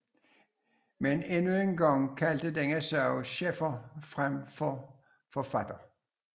Men endnu en gang kaldte denne sag Schäffer frem som forfatter